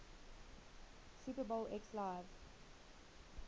super bowl xliv